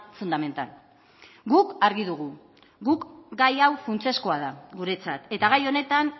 fundamental guk argi dugu guk gai hau funtsezkoa da guretzat eta gai honetan